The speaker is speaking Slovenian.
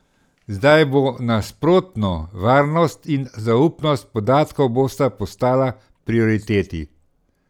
Zdaj bo nasprotno, varnost in zaupnost podatkov bosta postala prioriteti.